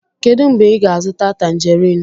Kedu mgbe ị ga-azụta Tanjerin?